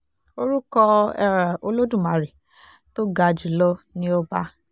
orúkọ um olódùmarè tó ga jù lọ ni ọba